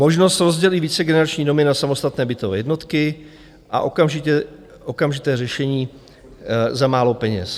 Možnost rozdělit vícegenerační domy na samostatné bytové jednotky a okamžité řešení za málo peněz.